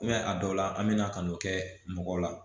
a dɔw la an bɛna kan'o kɛ mɔgɔw la